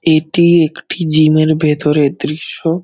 এটি একটি জিম -এর ভিতরের দৃশ্য।